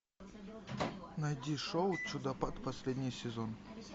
найди шоу чудопад последний сезон